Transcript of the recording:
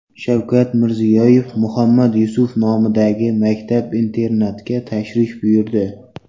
Shavkat Mirziyoyev Muhammad Yusuf nomidagi maktab-internatga tashrif buyurdi.